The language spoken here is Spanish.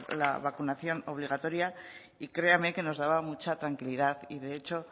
la vacunación obligatoria y créame que nos daba mucha tranquilidad y de hecho